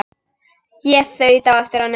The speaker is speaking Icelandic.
Ég þaut á eftir honum.